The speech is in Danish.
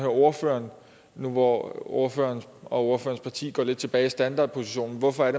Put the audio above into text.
ordføreren nu hvor ordføreren og ordførerens parti går lidt tilbage til standardpositionen hvorfor